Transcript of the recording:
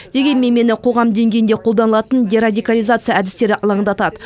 дегенмен мені қоғам деңгейінде қолданылатын дерадикализация әдістері алаңдатады